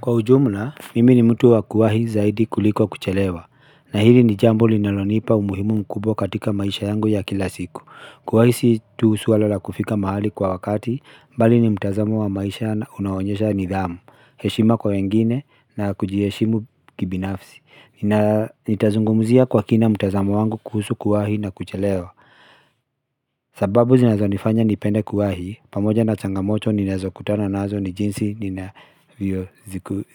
Kwa ujumla, mimi ni mtu wa kuwahi zaidi kuliko kuchelewa. Na hili ni jambo linalonipa umuhimu mkubw katika maisha yangu ya kila siku. Kuwahi si tu suala la kufika mahali kwa wakati, mbali ni mtazamo wa maisha unaonyesha nidhamu, heshima kwa wengine na kujiheshimu kibinafsi. Nitazungumuzia kwa kina mtazamo wangu kuhusu kuwahi na kuchelewa. Sababu zinazo nifanya nipende kuwahi, pamoja na changamoto ninazo kutana nazo ni jinsi ninavyo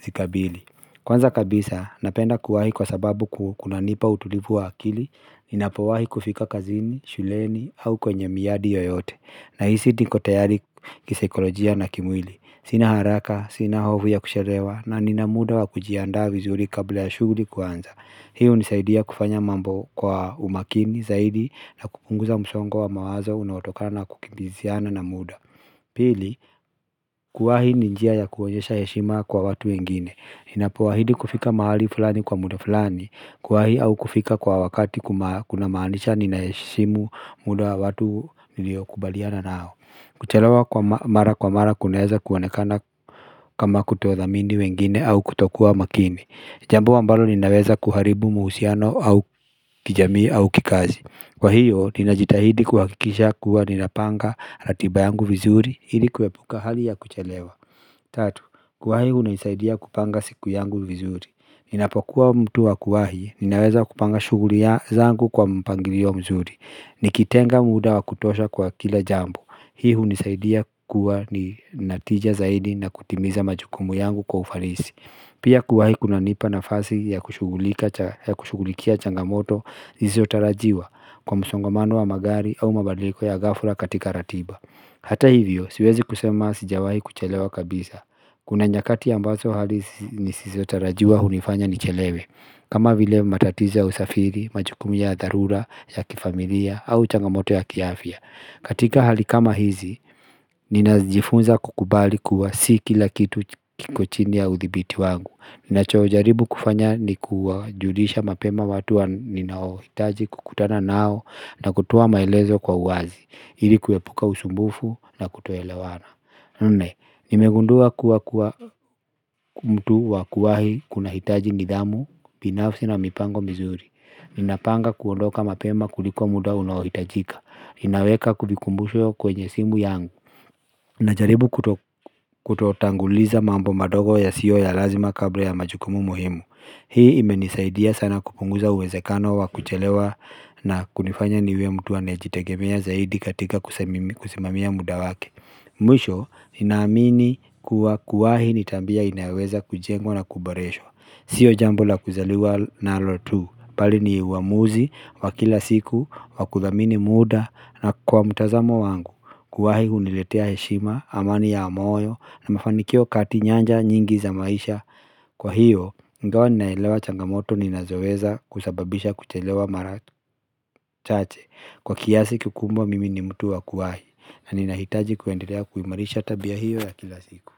zikabili. Kwanza kabisa, napenda kuwahi kwa sababu kuna nipa utulivu wa akili, ninapowahi kufika kazini, shuleni, au kwenye miadi yoyote. Na hisi niko tayari kisaikolojia na kimwili. Sina haraka, sina hovu ya kusherewa, na ninamuda wa kujiandaa vizuri kabla ya shuguli kwanza. Hii unisaidia kufanya mambo kwa umakini zaidi na kupunguza msongo wa mawazo unaotokana na kukimbiziana na muda. Pili, kuwahi ni njia ya kuonyesha heshima kwa watu wengine. Ninapo wahidi kufika mahali fulani kwa muda fulani Kuwahi au kufika kwa wakati kuna maanisha ninaheshimu muda wa watu niliokubaliana nao Kuchelawa kwa mara kwa mara kunaeza kuonekana kama kutodhamini wengine au kutokua makini Jambo ambalo linaweza kuharibu muhusiano au kijamii au kikazi Kwa hiyo ninajitahidi kuhakikisha kuwa nina panga ratiba yangu vizuri ili kuepuka hali ya kuchelewa Tatu, kuwahi unisaidia kupanga siku yangu vizuri Ninapokuwa mtu wa kuwahi, ninaweza kupanga shuguli zangu kwa mpangirio mzuri Nikitenga muda wa kutosha kwa kila jambo Hii unisaidia kuwa ni natija zaidi na kutimiza majukumu yangu kwa ufarisi Pia kuwahi kunanipa nafasi ya kushugulikia changamoto iziotarajiwa kwa msongomano wa magari au mabadiliko ya gafla katika ratiba Hata hivyo, siwezi kusema sijawahi kuchelewa kabisa Kuna nyakati ambazo hali nisizotarajiwa hunifanya nichelewe kama vile matatizo ya usafiri, majukumu ya dharura, ya kifamilia, au changamoto ya kiafya katika hali kama hizi, ninajifunza kukubali kuwa si kila kitu kikochini ya uthibiti wangu ninacho jaribu kufanya ni kujulisha mapema watu wa ninaohitaji kukutana nao na kutoa maelezo kwa uwazi ili kuwepuka usumbufu na kutoelewana Nne, nimegundua kuwa kuwa mtu wakuwahi kuna hitaji nidhamu, pinafsi na mipango mizuri Ninapanga kuondoka mapema kulikuwa muda unaohitajika Inaweka kulikumbusho kwenye simu yangu Najaribu kutotanguliza mambo madogo yasiyo ya lazima kabla ya majukumu muhimu Hii imenisaidia sana kupunguza uwezekano wa kuchelewa na kunifanya niwe mtu anayejitegemea zaidi katika kusimamia muda wake Mwisho ninaamini kuwa kuwahi nitambia inaweza kujengwa na kubareshwa Sio jambo la kuzaliwa nalotu Pali ni uwamuzi wa kila siku wa kudhamini muda na kwa mtazamo wangu Kuwahi uniletea heshima amani ya amoyo na mafanikio kati nyanja nyingi za maisha Kwa hiyo, ingawa ninaelewa changamoto ni nazoweza kusababisha kuchelewa mara chache Kwa kiasi kikumbwa mimi ni mtu wa kuwahi na ninahitaji kuendelea kuimarisha tabia hiyo ya kila siku.